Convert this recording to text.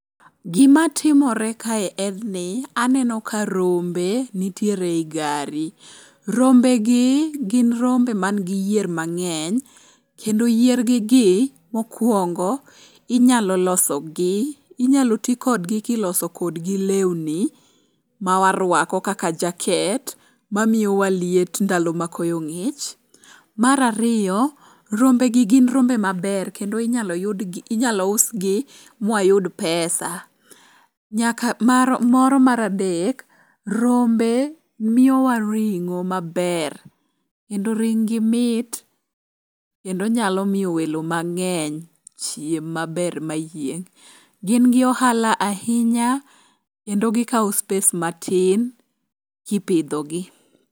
Gimatimore kae en ni, aneno ka rombe nitiere e i gari. Rombegi gin rombe mangi yier mang'eny kendo yiergi gi mokwongo inyalo ti kodgi kiloso kodgi lewni ma waruako kaka jaket mamiyowa liet ndalo ma koyo ng'ich. Mar ariyo, rombegi gin rombe maber kendo inyalo usgi mwayud pesa. Moro mar adek, rombe miyowa ring'o maber kendo ringgi mit kendo nyalo miyo welo mang'eny chiem maber mayieng'. Gin gi ohala ahinya kendo gikawo space matin kipidhogi.